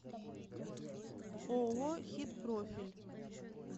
ооо хит профиль